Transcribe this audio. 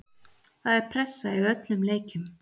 Það er pressa í öllum leikjum.